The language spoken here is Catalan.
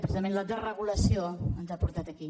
precisament la desregulació ens ha portat aquí